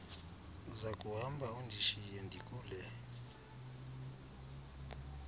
uzakuhamba undishiye ndikule